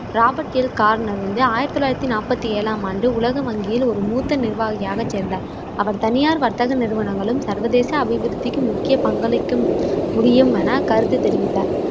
Robert L Garner வந்து ஆயிரத்தி தொள்ளாயிரத்தி நாப்பத்தி ஏழாம் ஆண்டு உலக வங்கியில் ஒரு மூத்த நிர்வாகியாக சேர்ந்தார். அவர் தனியார் வர்த்தக நிறுவனங்களும் சர்வதேச அபிவிருத்திக்கு முக்கிய பங்களிக்கும் முடியுமென கருத்து தெரிவித்தார்.